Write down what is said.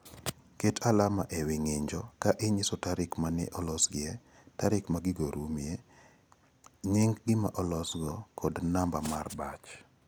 Ket alama e wi ng'injo ka inyiso tarik ma ne olosgie, tarik ma gigo rumoe, nying' gima olosgo kod namba mar batch.